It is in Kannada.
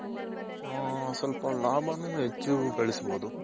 ಹ ಸ್ವಲ್ಪ ಲಾಭನು ಹೆಚ್ಚು ಗಳಿಸ್ಬಹುದು.